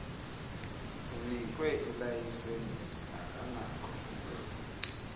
unikwe ilayisenisi akanakho